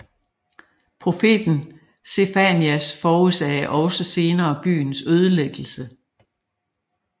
Profeten Sefanias forudsagde også senere byens ødelæggelse